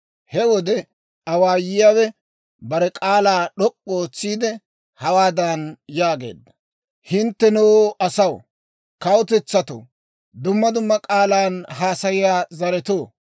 He wode awaayuwaa awaayiyaawe bare k'aalaa d'ok'k'u ootsiide, hawaadan yaageedda; «Hinttenoo, asaw, kawutetsatto, dumma dumma k'aalan haasayiyaa zaretoo,